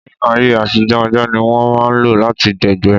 Ní ayé àtijó, ajá ní wọ́n máà ń lo lati dẹ̀gbẹ́